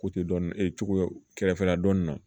Ko te dɔn kɛrɛfɛla dɔnni na